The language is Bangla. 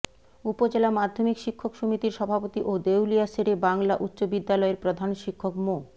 উপজেলা মাধ্যমিক শিক্ষক সমিতির সভাপতি ও দেউলিয়া শেরে বাংলা উচ্চ বিদ্যালয়ের প্রধান শিক্ষক মো